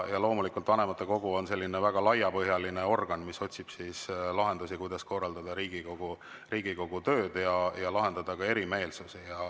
Vanematekogu on selline väga laiapõhjaline organ, mis otsib lahendusi, kuidas korraldada Riigikogu tööd ja kuidas lahendada ka erimeelsusi.